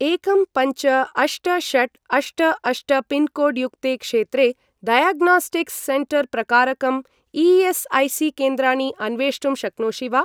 एकं पञ्च अष्ट षट् अष्ट अष्ट पिन्कोड् युक्ते क्षेत्रे डायग्नास्टिक्स् सेण्टर् प्रकारकं ई.एस्.ऐ.सी.केन्द्राणि अन्वेष्टुं शक्नोषि वा?